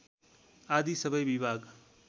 आदि सबै विभाग